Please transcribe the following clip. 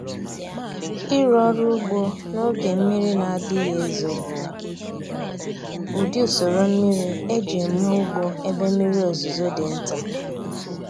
Ịrụ ọrụ ugbo n’oge mmiri na-adịghị ezo bụ ụdị usoro mmiri eji eme ugbo ebe mmiri ozuzo dị nta.